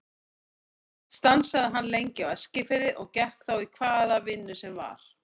Oft stansaði hann lengi á Eskifirði og gekk þá í hvaða vinnu sem var.